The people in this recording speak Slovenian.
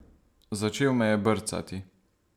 Začel me je brcati.